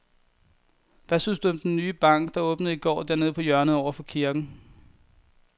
Hvad synes du om den nye bank, der åbnede i går dernede på hjørnet over for kirken?